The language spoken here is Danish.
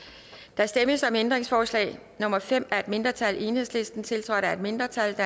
der stemmes om ændringsforslag nummer fem af et mindretal tiltrådt af et mindretal og